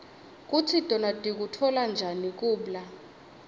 kutsi tona tikutfola njani kubla